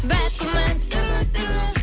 бәк күмән түрлі түрлі